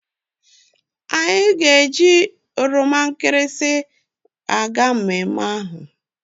Anyi ga eji epe nkirisi aga mmemme ahu